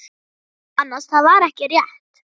Nei annars, það var ekki rétt.